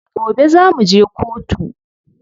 Gobe za muje kotu.